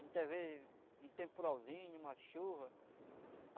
Muitas vezes um temporalzinho, uma chuva.